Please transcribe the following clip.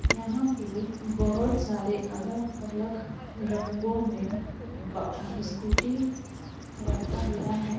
यहाँ पे बहुत सारे अलग-अलग रंगों में ब स्कूटी रखा गया है।